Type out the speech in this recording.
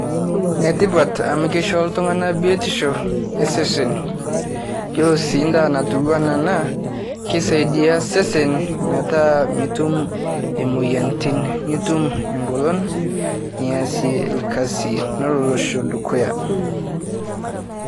Netipat amu keisho ltung'anak biotisho esesen. Yiolo sii ndaa natiu ana ena, kisaidi sesen metaa mitum imoyiantin nitum engolon niasie ilkasi nelo losho dukuya.